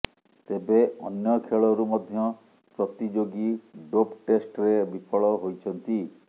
ତେବେ ଅନ୍ୟ ଖେଳରୁ ମଧ୍ୟ ପ୍ରତିଯୋଗୀ ଡୋପ୍ ଟେଷ୍ଟ୍ରେ ବିଫଳ ହୋଇଛନ୍ତି